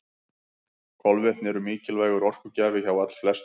Kolvetni eru mikilvægur orkugjafi hjá allflestum.